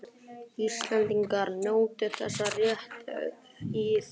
Íslendingar njóti þessa réttar í þeirra heimalöndum.